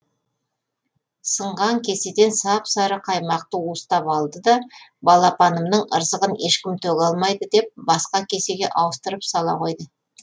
сынған кеседен сап сары қаймақты уыстап алды да балапанымның ырзығын ешкім төге алмайды деп басқа кесеге ауыстырып сала қойды